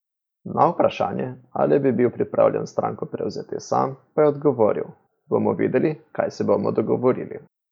Na vprašanje, ali bi bil pripravljen stranko prevzeti sam, pa je odgovoril: "Bomo videli, kaj se bomo dogovorili".